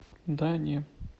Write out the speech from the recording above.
да не